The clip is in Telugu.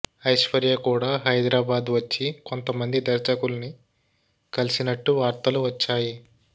ఐశ్వర్య కూడా హైదరాబాద్ వచ్చి కొంతమంది దర్శకుల్ని కలిసినట్టు వార్తలు వచ్చాయి